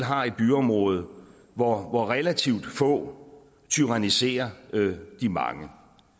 har et byområde hvor hvor relativt få tyranniserer de mange